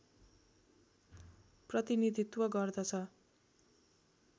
प्रतिनीधित्त्व गर्दछ